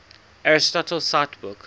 aristotle cite book